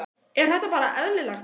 Er þetta bara eðlilegt?